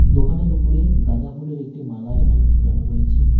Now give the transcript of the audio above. দোকানের উপরে গাঁদা ফুলের একটি মালা এখানে ঝুলানো রয়েছে।